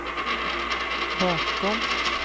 bakom